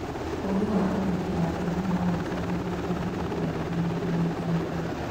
Ũũgĩ wa athuri a tene nĩ wahitũkagio kũrĩ andũ ethĩ hĩndĩ ya thigũkũ.